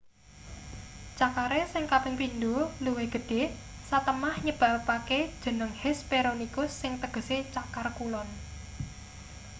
cakare sing kaping pindho luwih gedhe satemah nyebabake jeneng hesperonychus sing tegese cakar kulon